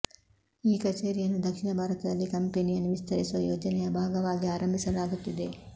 ಈ ಕಚೇರಿಯನ್ನು ದಕ್ಷಿಣ ಭಾರತದಲ್ಲಿ ಕಂಪನಿಯನ್ನು ವಿಸ್ತರಿಸುವ ಯೋಜನೆಯ ಭಾಗವಾಗಿ ಆರಂಭಿಸಲಾಗುತ್ತಿದೆ